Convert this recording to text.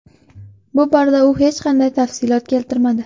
Bu borada u hech qanday tafsilot keltirmadi.